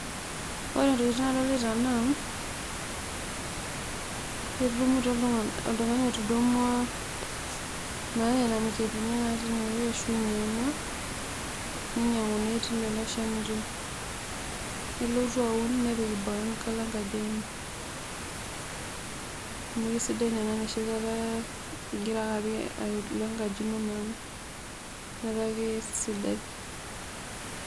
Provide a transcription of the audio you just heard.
Ore ntokitin nadolita naa, oltungani otudumwa, etudumutwa iltungana naa nena mikebeni naati inaeweji ninyanguni telelo shanito nelotu aun nepik boo enkalo enkaji enye amu kisidai naa ena enoshikata ake ipikita enkaji ino meeta kisidai.